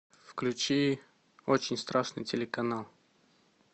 включи очень страшный телеканал